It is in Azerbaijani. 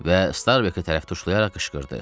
Və Starbeki tərəf tuşlayaraq qışqırdı.